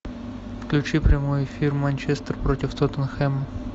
включи прямой эфир манчестер против тоттенхэма